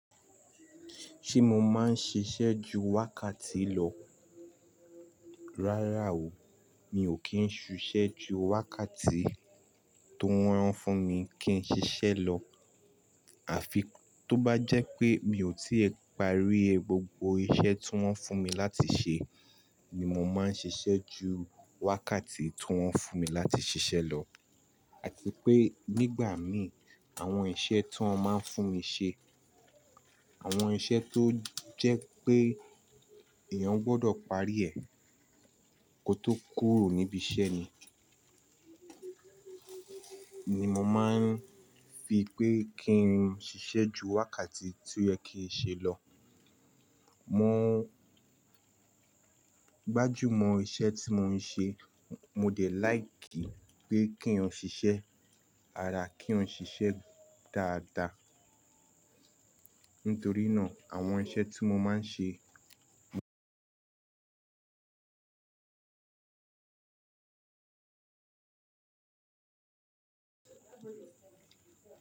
Ṣé mo máa ń ṣiṣẹ́ ju wákàtí lọ? Rárá o, mi ò kí ń ṣiṣẹ́ ju wákàtí tó rán fún mi kí n ṣiṣẹ́ lọ. Àfi tó bá jẹ́ pé mi ò tí ì parí gbogbo iṣẹ́ tí wón fún mi láti ṣe ni mo máa ń ṣiṣẹ́ ju wákàtí tí wón fún mi láti ṣiṣẹ́ lọ. Àti pé nígbà mìí, àwọn iṣẹ́ tí wón máa ń fún mi ṣe, àwọn iṣẹ́ tó jẹ́ pé èèyàn gbọdọ̀ parí ẹ̀ kó tó kúrò níbi iṣẹ́ ni, ni mo máa ń fi pé kí ń ṣiṣẹ́ ju wákàtí tí ó yẹ kí ń ṣe lọ. Mọ gbájú mọ iṣẹ́ tí mo ń ṣe. Mo dẹ̀ láìkìí pé kí eyan ṣiṣẹ́, àrá kí eyan ṣiṣẹ́ dáadáa. Nítorí náà àwọn iṣẹ́ tí mo máa ń ṣe.